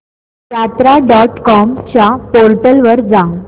यात्रा dot com च्या portal वर जा